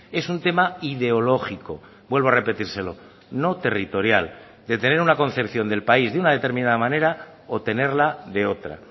es un tema ideológico vuelvo a repetírselo no territorial de tener una concepción del país de una determinada manera o tenerla de otra